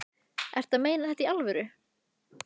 Ertu að meina þetta í alvöru?